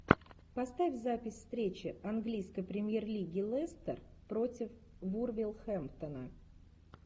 поставь запись встречи английской премьер лиги лестер против вулверхэмптона